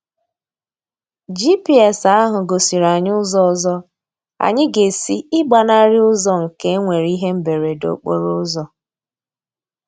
GPS ahụ gosiri anyị ụzọ ọzọ anyị ga-esi ịgbanarị ụzọ nke e nwere ihe mberede okporo ụzọ.